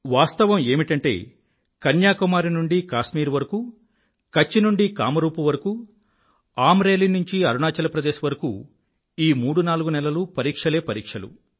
వాస్తవం ఏమిటంటే కన్యాకుమారి నుండి కాశ్మీర్ వరకూ కచ్ నుండి కామ్ రూప్ వరకూ అమ్ రేలీ నుండి అరుణాచల్ ప్రదేశ్ వరకూ ఈ మూడు నాలుగు నెలలూ పరీక్షలే పరీక్షలు